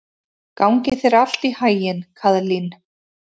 Gangi þér allt í haginn, Kaðlín.